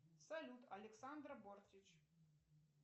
салют александра бортич